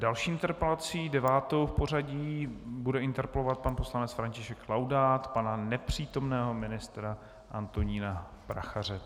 Další interpelací, devátou v pořadí, bude interpelovat pan poslanec František Laudát pana nepřítomného ministra Antonína Prachaře.